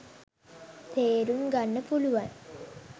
තේරුම් ගන්න පුලුවන්